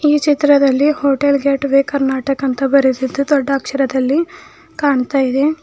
ಈ ಚಿತ್ರದಲ್ಲಿ hotel gateway Karnataka ಎಂದು ಬರೆಸಿದ್ದು ದೊಡ್ಡ ಅಕ್ಷರದಲ್ಲಿ ಕಾಣ್ತಾ ಇದೆ.